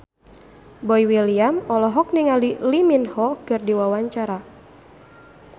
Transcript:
Boy William olohok ningali Lee Min Ho keur diwawancara